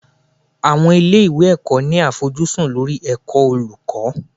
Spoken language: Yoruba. Àwọn ilé ìwé ẹ̀kọ́ ní àfojúsùn lórí ẹ̀kọ́ olùkọ́.